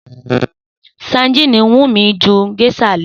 Sadíìnì wù mí ju gés̩à lo̩